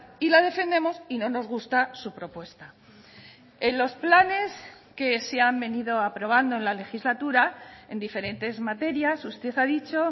y la defendemos y no nos gusta su propuesta en los planes que se han venido aprobando en la legislatura en diferentes materias usted ha dicho